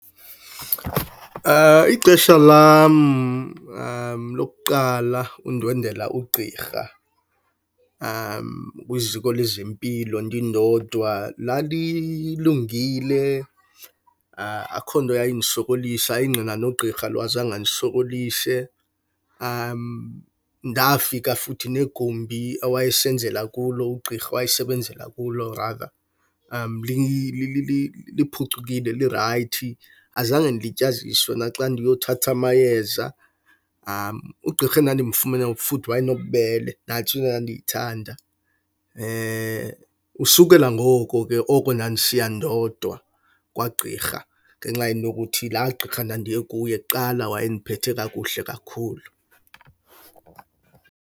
Ixesha lam lokuqala undwendwela ugqirha kwiziko lezempilo ndindodwa lalilungile. Akukho nto eyayindisokolisa ingqina nogqirha azange andisokolise. Ndafika futhi negumbi awayesenzela kulo ugqirha, awayesebenzela kulo liphucukile, lirayithi. Azange ndilityaziswe naxa ndiyothatha amayeza. Ugqirha endandimfumene futhi wayenobubele, nantso into endandiyithanda. Usukela ngoko ke oko ndandisiya ndodwa kwagqirha ngenxa yento yokuthi laa gqirha ndandiye kuye kuqala wayendiphethe kakuhle kakhulu.